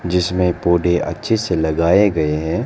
जिसमें पौधे अच्छे से लगाए गए हैं।